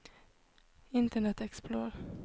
internet explorer